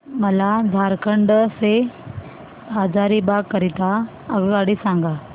मला झारखंड से हजारीबाग करीता आगगाडी सांगा